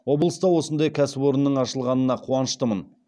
облыста осындай кәсіпорынның ашылғанына қуаныштымын